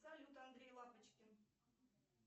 салют андрей лапочкин